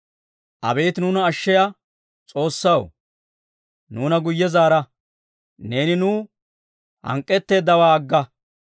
Abeet nuuna ashshiyaa S'oossaw, nuuna guyye zaara. Neeni nuw hank'k'eteeddawaa agga.